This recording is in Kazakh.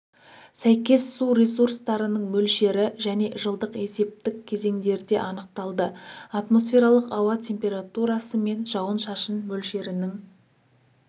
сәйкес су ресурстарының мөлшері және жылдық есептік кезеңдерде анықталды атмосфералық ауа температурасы мен жауын-шашын мөлшерінің